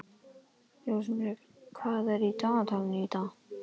Rósenberg, hvað er í dagatalinu í dag?